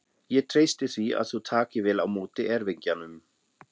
Ég treysti því að þú takir vel á móti erfingjanum.